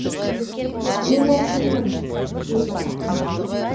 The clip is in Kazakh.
мен әкіммін деді әкім